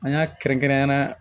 An y'a kɛrɛnkɛrɛnnenya la